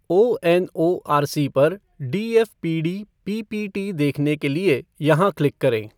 ONORC पर DFPD PPT देखने के लिए यहाँ क्लिक करें।